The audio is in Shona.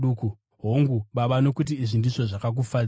Hongu, Baba nokuti izvi ndizvo zvakakufadzai.